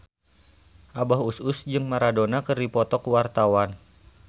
Abah Us Us jeung Maradona keur dipoto ku wartawan